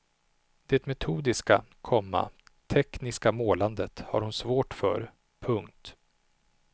Det metodiska, komma tekniska målandet har hon svårt för. punkt